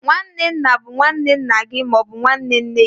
nwanne nna bụ nwanne nna gị ma ọ bụ nwanne nne gị.